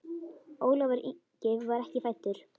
Ólafur Ingi var ekki fæddur.